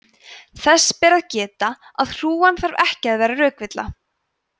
þess ber að geta að hrúgan þarf ekki að vera rökvilla